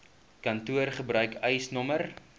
kantoor gebruik eisnr